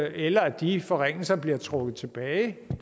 eller at de forringelser bliver trukket tilbage